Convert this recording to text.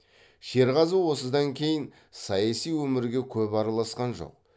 шерғазы осыдан кейін саяси өмірге көп араласқан жоқ